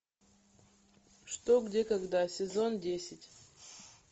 что где когда сезон десять